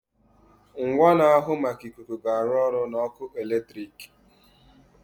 Ngwa na-ahụ maka ikuku ga-arụ ọrụ na ọkụ eletrik.